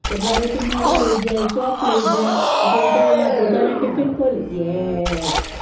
તો ઘેર થી મુડી લઇ જાય ચોપ લઇ જાય interval માં પોતાના tiffin ખોલે yes